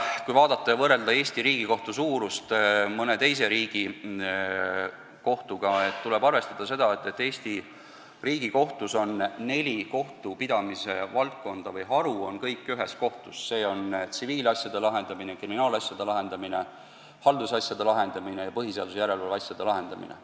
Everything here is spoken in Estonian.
Kui võrrelda Eesti Riigikohtu suurust mõne teise riigi kohtuga, tuleb arvestada, et Eesti Riigikohtus on neli kohtupidamise valdkonda või haru kõik ühes kohtus: see on tsiviilasjade lahendamine, kriminaalasjade lahendamine, haldusasjade lahendamine ja põhiseaduslikkuse järelevalve asjade lahendamine.